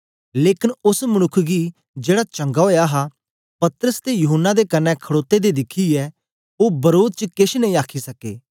लेकन ओस मनुक्ख गी जेड़ा चंगा ओया हा पतरस ते यूहन्ना दे कन्ने खड़ोते दे दिखियै ओ वरोध च केछ नेई आखी सके